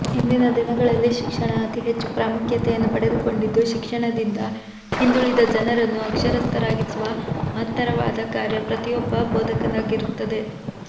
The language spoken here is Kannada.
ಇಂದಿನ ದಿನಗಳಲ್ಲಿ ಶಿಕ್ಷಣ ಅತಿ ಹೆಚ್ಚು ಪ್ರಾಮುಖ್ಯತೆಯನ್ನು ಪಡೆದುಕೊಂಡಿದ್ದು ಶಿಕ್ಷಣದಿಂದ ಹಿಂದುಳಿದ ಜನರನ್ನು ಅಕ್ಷರಸ್ಥರಾಗಿಸುವ ಮಹತ್ತರವಾದ ಕಾರ್ಯ ಪ್ರತಿಯೋಬ್ಬ ಬೋಧಕರದ್ದಾಗಿದೆ